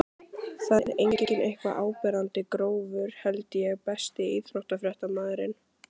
það er engin eitthvað áberandi grófur held ég Besti íþróttafréttamaðurinn?